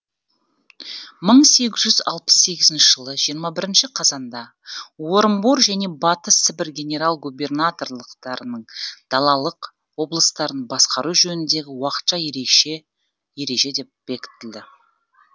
мың сегіз жүз алпыс сегізінші жылы жиырма бірінші қазанда орынбор және батыс сібір генерал губернаторлықтарының далалық облыстарын басқару жөніндегі уақытша ереже бекітілді